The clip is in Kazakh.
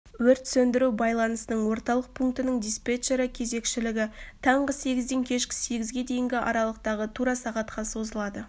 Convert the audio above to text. өрт сөндіру байланысының орталық пункінің диспетчері кезекшілігі таңғы сегізден кешкі сегізге дейінгі аралықтағы тура сағатқа созылады